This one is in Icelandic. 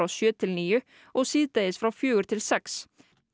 sjö til níu og síðdegis frá fjögur til sex